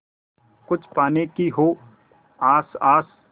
कुछ पाने की हो आस आस